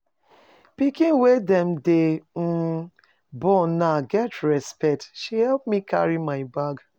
Pikin wey dem dey um born now get respect. She help me carry my bag.